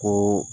Ko